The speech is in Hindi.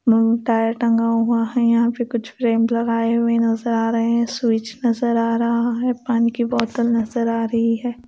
टायर टंगा हुआ है यहां पे कुछ फ्रेम लगाए हुए नजर आ रहे हैं स्विच नजर आ रहा है पानी की बोतल नजर आ रही है।